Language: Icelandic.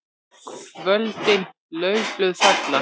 KVÖLDIN LAUFBLÖÐ FALLA.